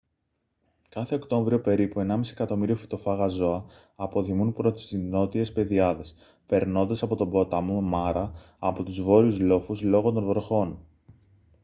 κάθε οκτώβριο περίπου 1.5 εκατομμύριο φυτοφάγα ζώα αποδημούν προς τις νότιες πεδιάδες περνώντας από τον ποταμό μάρα από τους βόρειους λόφους λόγω των βροχών